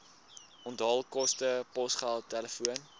onthaalkoste posgeld telefoon